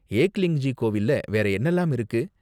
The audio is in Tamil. ஏக்லிங்ஜி கோவில்ல வேற என்னென்னலாம் இருக்கு?